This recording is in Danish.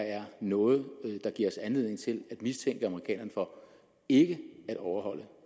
er noget der giver os anledning til at mistænke amerikanerne for ikke at overholde